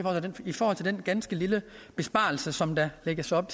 i forhold til den ganske lille besparelse som der lægges op